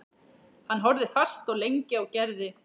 Hann horfði fast og lengi á Gerði.